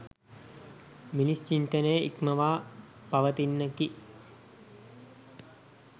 මිනිස් චින්තනය ඉක්මවා පවතින්නකි